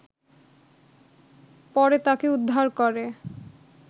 পরে তাকে উদ্ধার করে